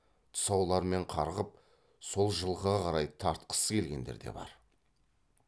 тұсауларымен қарғып сол жылқыға қарай тартқысы келгендер де бар